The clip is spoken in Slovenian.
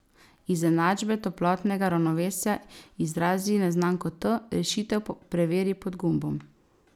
Iz enačbe toplotnega ravnovesja izrazi neznanko T, rešitev preveri pod gumbom.